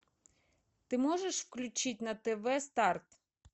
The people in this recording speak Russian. ты можешь включить на тв старт